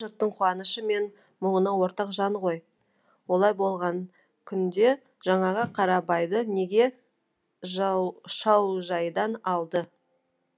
жұрттың қуанышы мен мұңына ортақ жан ғой олай болған күнде жаңағы қарабайды неге шаужайдан алды